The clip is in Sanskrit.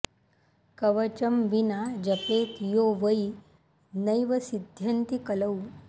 कवचं विना जपेत् यो वै नैव सिद्धयन्ति कलौ